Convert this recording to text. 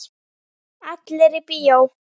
Allir í bíó!